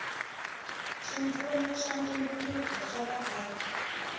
swipfuno swa ntumbuluko swa vaaki